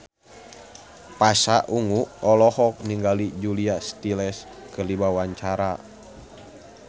Pasha Ungu olohok ningali Julia Stiles keur diwawancara